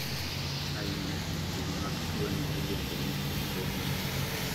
ainagi mag tuwoni iluongoni syndromic